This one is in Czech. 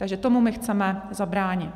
Takže tomu my chceme zabránit.